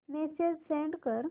message send कर